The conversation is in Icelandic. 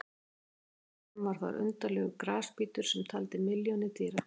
Fyrr á öldum var þar undarlegur grasbítur sem taldi milljónir dýra.